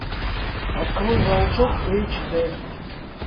открой волчок эйч дэ